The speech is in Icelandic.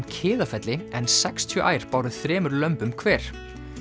Kiðafelli en sextíu ær báru þremur lömbum hver